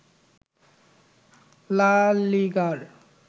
লা লিগার